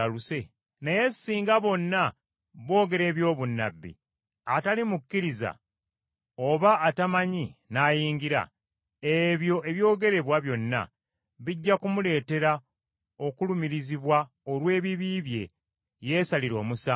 Naye singa bonna boogera eby’obunnabbi, atali mukkiriza oba atamanyi n’ayingira, ebyo ebyogerebwa byonna, bijja kumuleetera okulumirizibwa olw’ebibi bye, yeesalire omusango,